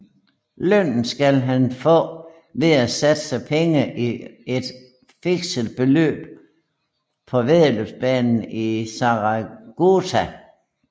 Lønnen skal han få ved at satse penge i et fikset løb på væddeløbsbanen i Saragota